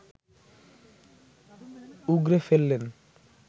উগড়ে ফেললেন